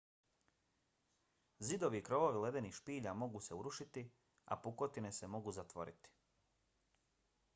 zidovi i krovovi ledenih spilja mogu se urušiti a pukotine se mogu zatvoriti